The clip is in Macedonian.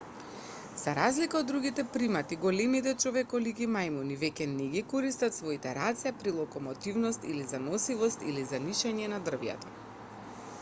за разлика од другите примати големите човеколики мајмуни веќе не ги користат своите раце при локомотивност или за носивост или за нишање низ дрвјата